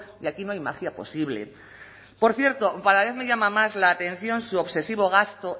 y aquí no hay magia posible por cierto cada vez me llama más la atención su obsesivo gasto